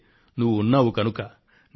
నీకు ఈ రోజు వివరించాలనుకొంటున్నా